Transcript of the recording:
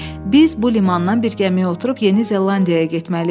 Biz bu limandan bir gəmiyə oturub Yeni Zelandiyaya getməliyik.